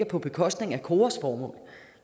på bekostning af koras formål